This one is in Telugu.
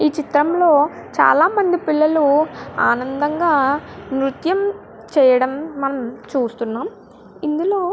ఈ చిత్రం లో చాల మంది పిల్లలు ఆనందంగా నుర్త్యం చేయడం మనం చూస్తున్నామం. ఇందులో --